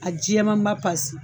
A jɛmanba pasi